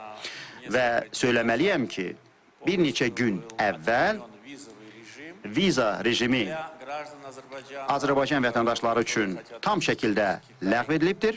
Və söyləməliyəm ki, bir neçə gün əvvəl viza rejimi Azərbaycan vətəndaşları üçün tam şəkildə ləğv edilibdir.